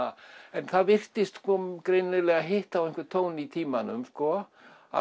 en það virtist greinilega hitta á einhvern tón í tímanum